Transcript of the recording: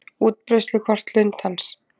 Útbreiðslukort lundans.